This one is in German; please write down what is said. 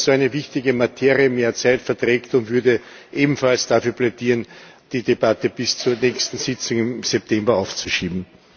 Ich glaube, dass eine so wichtige Materie mehr Zeit verträgt, und würde ebenfalls dafür plädieren, die Debatte bis zur nächsten Sitzung im September aufzuschieben.